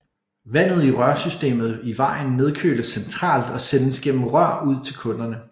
Vandet i rørsystemet i vejen nedkøles centralt og sendes gennem rør ud til kunderne